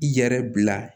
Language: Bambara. I yɛrɛ bila